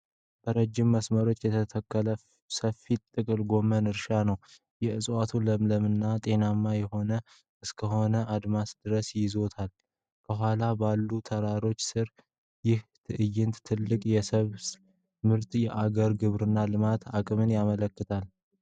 በረጅም መስመሮች የተተከለ ሰፊ ጥቅል ጎመን እርሻ ነው። እፅዋቱ ለምለምና ጤናማ ሆነው እስከ አድማስ ድረስ ይዘልቃሉ። ከኋላ ባሉት ተራሮች ሥር፣ ይህ ትዕይንት ትልቅ የሰብል ምርትንና የአገርን የግብርና ልማት አቅም ያመለክታል።